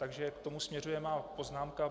Takže k tomu směřuje má poznámka.